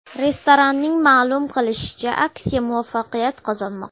Restoranning ma’lum qilishicha, aksiya muvaffaqiyat qozonmoqda.